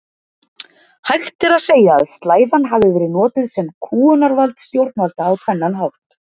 Hægt er að segja að slæðan hafi verið notuð sem kúgunarvald stjórnvalda á tvennan hátt.